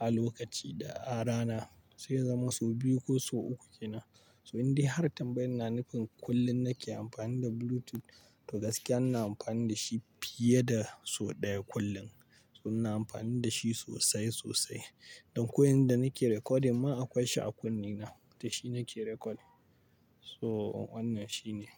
a lokaci da a rana sai ya zama sau biyu ko sau uku ke nan. So in dai har tambayi na nufin kullum nake amfani da Bluetooth to gaskiya ina amfani da shi fiye da sau ɗaya kullum. So ina amfani da shi sosai, sosai. Don ko yanzu da nake recording ma akwai shi a kunne na da shi nake recording. So wannan shi ne.